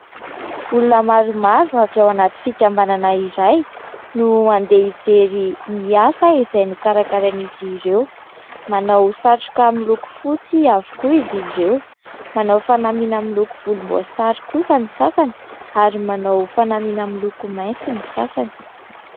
Olona maromaro avy ao anaty fikambanana iray no andeha hijery ny asa izay nokarakarain'izy ireo, manao satroka miloko fotsy avokoa izy ireo, manao fanamiana amin'ny loko volomboasary kosa ny sasany ary manao fanamiana miloko maitso ny sasany.